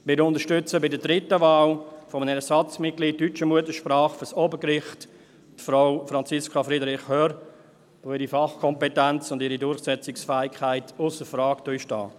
Wir unterstützen bei der dritten Wahl, Ersatzmitglied deutscher Muttersprache für das Obergericht, Frau Franziska Friederich Hörr, weil ihre Fachkompetenz und ihre Durchsetzungsfähigkeit ausser Frage stehen.